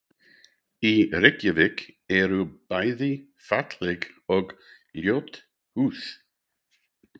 Í Reykjavík eru bæði falleg og ljót hús.